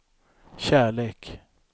kärlek